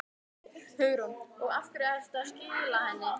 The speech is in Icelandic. Hugrún: Og af hverju ertu að skila henni?